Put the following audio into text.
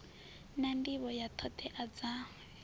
na nḓivho ya ṱhoḓea dza